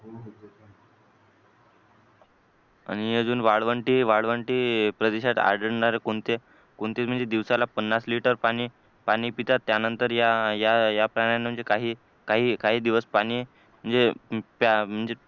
आणि अजून वाळवंटी वाळवंटी प्रदेशात आढळणारे कोणते कोणते म्हणजे दिवसाला पन्नास लिटर पाणी पाणी पितात त्यानंतर या या प्राण्यांना म्हणजे काही काही काही दिवस पाणी म्हणजे